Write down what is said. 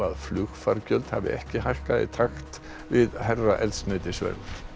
flugfargjöld hafi ekki hækkað í takt við hærra eldsneytisverð